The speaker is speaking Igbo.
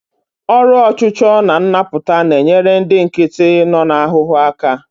Ọrụ ọchụchọ na nnapụta na-enyere ndị nkịtị nọ n'ahụhụ aka.